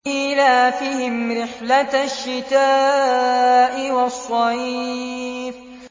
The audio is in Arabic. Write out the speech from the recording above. إِيلَافِهِمْ رِحْلَةَ الشِّتَاءِ وَالصَّيْفِ